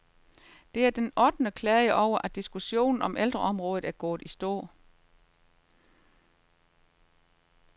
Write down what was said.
Det er den ottende klage over, at diskussionen om ældreområdet er gået i stå.